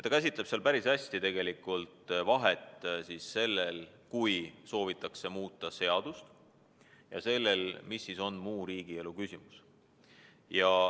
Ta käsitleb seal päris hästi seda, mis vahe on sellel, kui soovitakse muuta seadust, ja sellel, kui esitatakse muu riigielu küsimus.